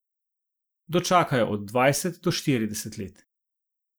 Dočakajo od dvajset do štirideset let.